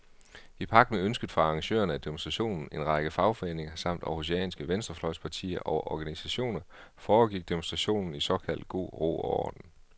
I pagt med ønsket fra arrangørerne af demonstrationen, en række fagforeninger samt århusianske venstrefløjspartier og organisationer, foregik demonstrationen i såkaldt god ro og orden.